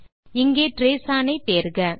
இங்கே trace one ஐ தேர்க அது இருக்கிறது